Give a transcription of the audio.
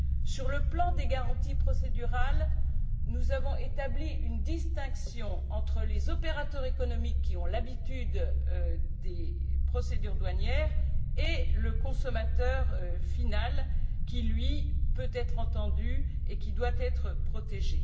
Sur le plan des garanties procédurales, nous avons établi une distinction entre les opérateurs économiques, qui ont l'habitude des procédures douanières, et le consommateur final qui, lui, peut être entendu et qui doit être protégé.